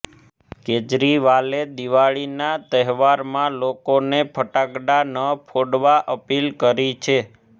કેજરીવાલે દીવાળીના તહેવારમાં લોકોને ફટાકડા ન ફોડવા અપીલ કરી છે